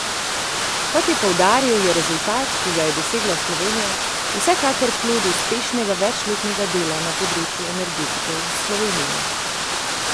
Kot je poudaril, je rezultat, ki ga je dosegla Slovenija, vsekakor plod uspešnega večletnega dela na področju energetike v Sloveniji.